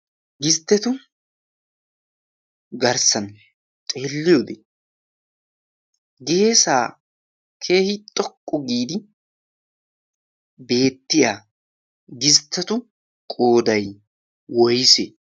distetu garssan xeeliyode geesaa keehi xoqqu giidi beettiya distettu qooday woysee?